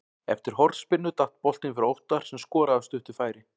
Eftir hornspyrnu datt boltinn fyrir Óttar sem skoraði af stuttu færi.